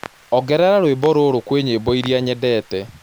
Ongerera rwĩmbo rũrũ kwi nyĩmboĩrĩa nyendete